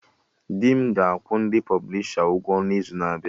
Dị m ga-akwụ ndị pọblisha ụgwọ n'izu na-abịa